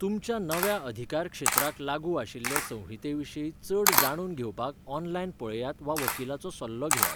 तुमच्या नव्या अधिकारक्षेत्राक लागू आशिल्ले संहिते विशीं चड जाणून घेवपाक ऑनलायन पळयात वा वकिलाचो सल्लो घेयात.